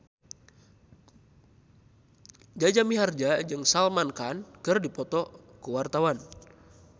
Jaja Mihardja jeung Salman Khan keur dipoto ku wartawan